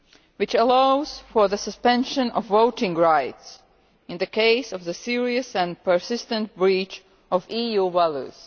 which allows for the suspension of voting rights in the event of a serious and persistent breach of EU values.